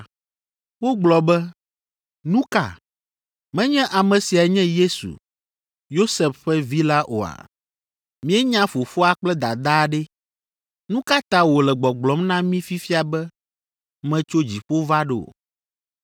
Wogblɔ be, “Nu ka! Menye ame siae nye Yesu, Yosef ƒe vi la oa? Míenya fofoa kple dadaa ɖe! Nu ka ta wòle gbɔgblɔm na mí fifia be, ‘Metso dziƒo va ɖo?’ ”